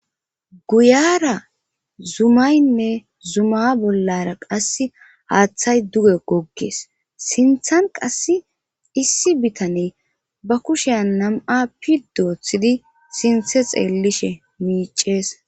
Guyara zumaynne zuma bollara qasse haaththay duge goggees sinthan qass issi bitane ba kushean nam'a pi doothidi sinthe xeellishe miicees.